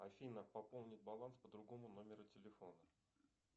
афина пополнить баланс по другому номеру телефона